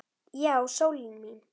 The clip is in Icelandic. Já, sólin mín.